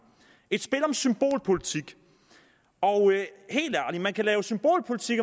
et spil om symbolpolitik og helt ærligt man kan lave symbolpolitik